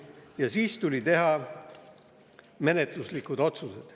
Ja siis tuli teha menetluslikud otsused.